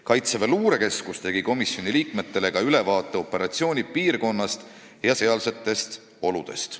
Kaitseväe luurekeskus tegi komisjoni liikmetele ka ülevaate operatsiooni piirkonnast ja sealsetest oludest.